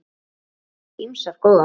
Ég hef fengið ýmsar góðar.